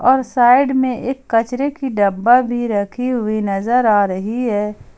और साइड में एक कचरे की डब्बा भी रखी हुई नजर आ रही है।